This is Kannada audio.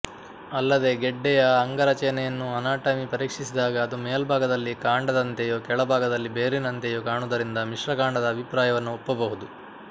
ಅಲ್ಲದೆ ಗೆಡ್ಡೆಯ ಅಂಗರಚನೆಯನ್ನೂ ಅನಾಟಮಿ ಪರೀಕ್ಷಿಸಿದಾಗ ಅದು ಮೇಲ್ಭಾಗದಲ್ಲಿ ಕಾಂಡದಂತೆಯೂ ಕೆಳಭಾಗದಲ್ಲಿ ಬೇರಿನಂತೆಯೂ ಕಾಣುವುದರಿಂದ ಮಿಶ್ರಕಾಂಡದ ಅಭಿಪ್ರಾಯವನ್ನು ಒಪ್ಪಬಹುದು